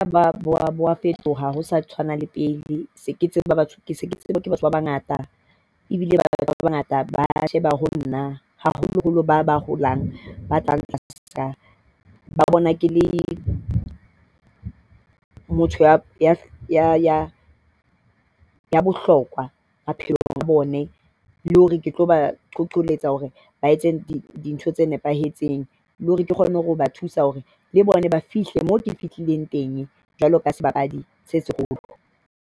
Ba ba bo a fetoha ha ho sa tshwana le pele. Se ke tsejwa ke batho ba bangata ebile ba bangata ba sheba ho nna haholoholo ba ba holang. Ba tla ba bona ke le motho ya bohlokwa maphelong a bone le hore ke tlo ba qoletse hore ba etse dintho tse nepahetseng le hore ke kgone ho ba thusa hore le bona ba fihle moo ke fihlileng teng. Jwalo ka sebapadi se seholo.